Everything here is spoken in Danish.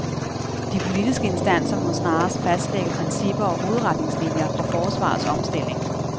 De politiske instanser må snarest fastlægge principper og hovedretningslinier for forsvarets omstilling.